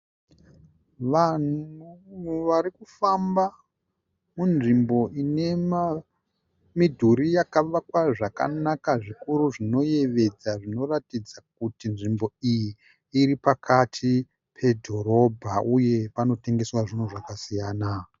Vanhu varikufamba munzvimbo ine midhuri yakavakwa zvakanaka zvikuru zvinoyevedza zvinoratidza kuti nzvimbo iyi iri pakati pedhorobha uye panotengesa zvinhu zvakasiyana.